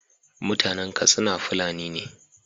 mutAnan Katsina fulani ne